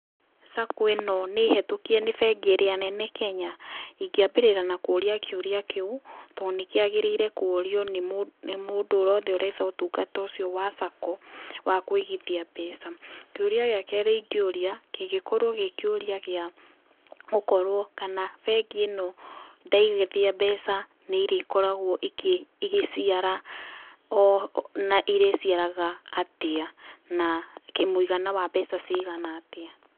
Sacco ĩno nĩ hĩtũkie nĩ bengi ĩrĩa nene Kenya? Ingĩ ambĩrĩra na kũria kĩũria kĩu, tondũ nĩ kĩagĩrĩire kũrio nĩ mũndũ wothe ũretha ũtungata ũcio wa Sacco wa kũigithia mbeca. Kĩũria gĩa kerĩ ingĩũria kĩngĩkorwo gĩ kĩũria gĩa gũkorwo kana bengi ĩno ndaigithia mbeca nĩ irĩkoragwo igĩciara na ĩrĩciaraga atĩa, na mũigana wa mbeca cigana atĩa.